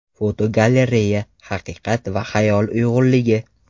Fotogalereya: Haqiqat va xayol uyg‘unligi.